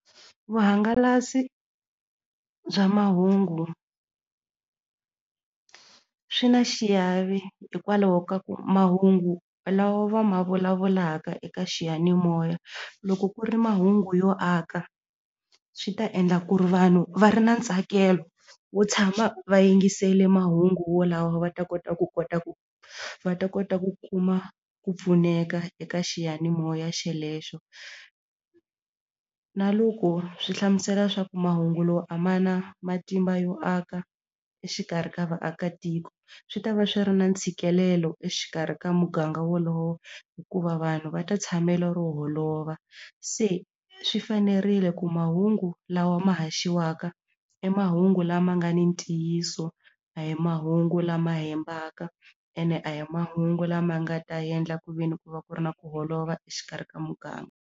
Vuhangalasi bya mahungu swi na xiave hikwalaho ka ku mahungu lawa va ma vulavulaka eka xiyanimoya loko ku ri mahungu yo aka swi ta endla ku ri vanhu va ri na ntsakelo wo tshama va yingisele mahungu wolawo va ta kota ku kota ku va ta kota ku kuma ku pfuneka eka xiyanimoya xelexo na loko swi hlamusela leswaku mahungu lowu a ma na matimba yo aka exikarhi ka vaakatiko swi ta va swi ri na ntshikelelo exikarhi ka muganga wolowo hikuva vanhu va ta tshamela ro holova se swi fanerile ku mahungu lawa ma haxiwaka i mahungu lama nga ni ntiyiso a hi mahungu lama hembaka ene a hi mahungu lama nga ta endla ku ve ni ku va ku ri na ku holova exikarhi ka muganga.